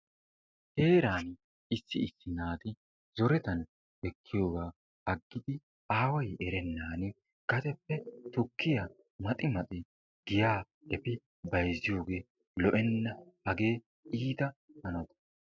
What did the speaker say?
Heeraan issi issi naati zorettan ekkiyogaa agidi aaway erenaan gadeppe tukkiya maxxi maxxi giya efi bayzziyogee lo"enna hagee iita hano.